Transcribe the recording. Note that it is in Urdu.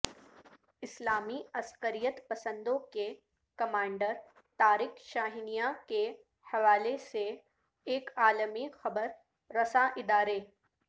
اسلامی عسکریت پسندوں کے کمانڈر طارق شاہنیا کے حوالے سے ایک عالمی خبر رساں ادارے